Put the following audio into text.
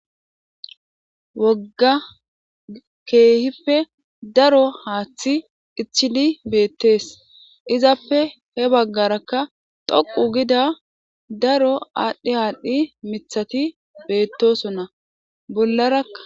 wogga keehife daro haaththi ichili beettees izappe he baggarakka doqu gida daro aadhdhi haalhdhi mithati beettosonna bollarakka